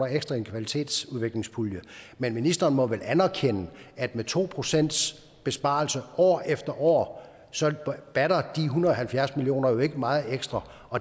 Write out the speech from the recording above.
ekstra i en kvalitetsudviklingspulje men ministeren må vel anerkende at med to procent besparelse år efter år så batter de en hundrede og halvfjerds million kroner jo ikke meget ekstra